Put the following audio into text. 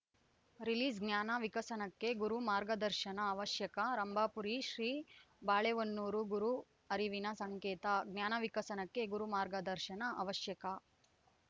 ರಿಲೀಸ್‌ಜ್ಞಾನ ವಿಕಸನಕ್ಕೆ ಗುರು ಮಾರ್ಗದರ್ಶನ ಅವಶ್ಯಕ ರಂಭಾಪುರಿ ಶ್ರೀ ಬಾಳೆಹೊನ್ನೂರು ಗುರು ಅರಿವಿನ ಸಂಕೇತ ಜ್ಞಾನ ವಿಕಸನಕ್ಕೆ ಗುರು ಮಾರ್ಗದರ್ಶನ ಅವಶ್ಯಕ